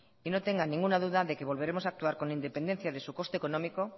y no tenga ninguna duda de que volveremos a actuar con la independencia de su coste económico